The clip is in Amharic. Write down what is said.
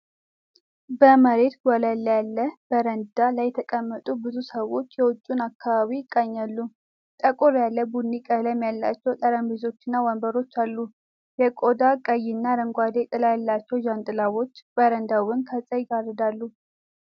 በመሬት ወለል ላይ ያለ በረንዳ ላይ የተቀመጡ ብዙ ሰዎች የውጭውን አከባቢ ይቃኛሉ። ጠቆር ያለ ቡኒ ቀለም ያላቸው ጠረጴዛዎችና ወንበሮች አሉ። የቆዳ ቀይና አረንጓዴ ጥላ ያላቸው ጃንጥላዎች በረንዳውን ከፀሐይ ይጋርዳሉ።